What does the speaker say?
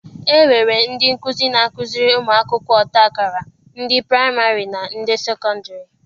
E nwere ndị nkuzi na-akuziri ụmụ akwụkwọ ọta akara, ndị praịmarị na ndị sekọndịrị.